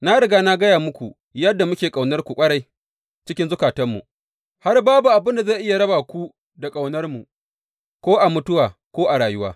Na riga na gaya muku yadda muke ƙaunarku ƙwarai cikin zukatanmu, har babu abin da zai iya raba ku da ƙaunarmu, ko a mutuwa ko a rayuwa.